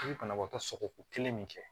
I bɛ banabaatɔ sɔgɔko kelen min kɛ